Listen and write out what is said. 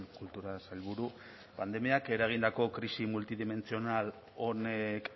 kultura sailburu pandemiak eragindako krisi multidimentsional honek